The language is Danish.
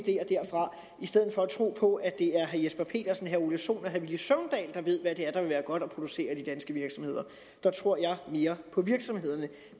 tro på at det er herre jesper petersen herre ole sohn og herre villy søvndal der ved hvad der ville være godt at producere i de danske virksomheder jeg tror mere på virksomhederne